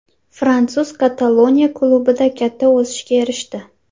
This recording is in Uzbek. Fransuz Kataloniya klubida katta o‘sishga erishdi.